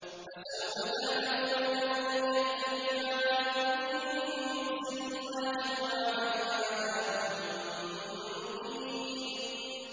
فَسَوْفَ تَعْلَمُونَ مَن يَأْتِيهِ عَذَابٌ يُخْزِيهِ وَيَحِلُّ عَلَيْهِ عَذَابٌ مُّقِيمٌ